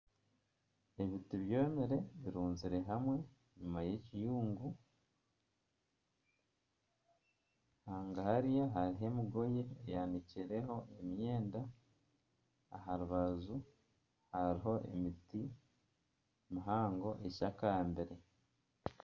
Ebiti byomire biruzire hamwe enyima y'ekiyungu haga hari hariho emigoye enyanikireho emyenda aha rubaju hariho emiti mihango eshakambire.